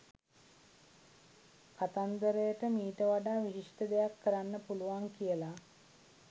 කතන්දරට මීට වඩා විශිෂ්ඨ දෙයක් කරන්න පුලුවන් කියලා